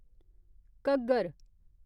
Ghaggar